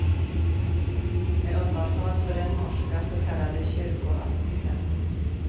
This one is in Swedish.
Med undantag för den norska så kallade kyrkoasylen.